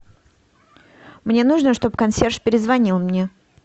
мне нужно чтобы консьерж перезвонил мне